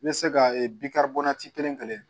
N bɛ se ka kelen kelen